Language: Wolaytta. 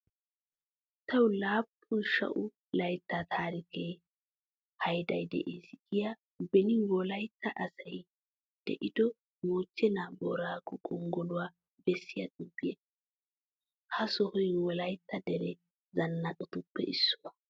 Tawu laappun sha"u laytta taarikiya hayday de'es giya beni Wolaytta asay de'ido moochcheena booraago gonggoluwa bessiya xuufiya. Ha sohoy Wolaytta dere zannaqatuppe issuwa.